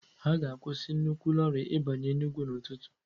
A ga-akwụsị nnukwu loori ịbanye Enugu n'ụtụtụ